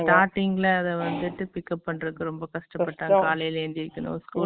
starting ல அது pickup பண்றதுக்கு ரொம்ப கஷ்டப்பட்டாங்க காலைல சீக்ரோ எந்திரிக்கறதுக்கு school போனும்